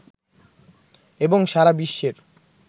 এবং সারা বিশ্বের